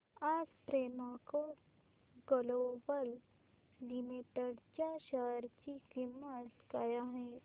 आज Premco global limited च्या share ची किंमत काय आहे